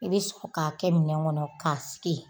I bi sɔrɔ ka kɛ minɛn kɔnɔ ka sigi.